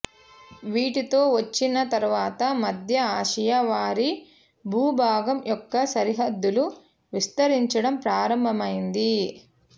వీటితో వచ్చిన తర్వాత మధ్య ఆసియా వారి భూభాగం యొక్క సరిహద్దులు విస్తరించడం ప్రారంభమైంది